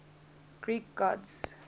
greek gods